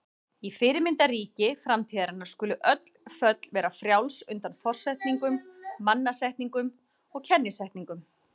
Í fyrirmyndarríki framtíðarinnar skulu öll föll vera frjáls undan forsetningum, mannasetningum og kennisetningum.